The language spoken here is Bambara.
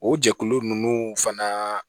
O jɛkulu ninnu fana